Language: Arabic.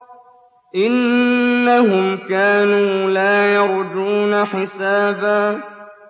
إِنَّهُمْ كَانُوا لَا يَرْجُونَ حِسَابًا